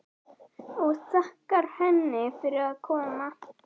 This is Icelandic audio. Og þakkar henni fyrir að koma.